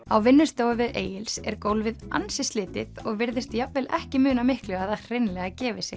á vinnustofu Egils er gólfið ansi slitið og virðist jafnvel ekki muna miklu að það hreinlega gefi sig